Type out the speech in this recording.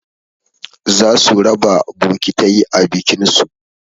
Za su raba bokitai a bikin su